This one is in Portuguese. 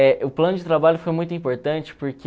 É, o plano de trabalho foi muito importante